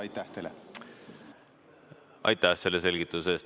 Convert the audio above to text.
Aitäh selgituse eest!